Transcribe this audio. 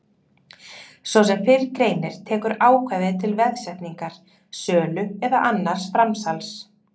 Svo sem fyrr greinir tekur ákvæðið til veðsetningar, sölu eða annars framsals.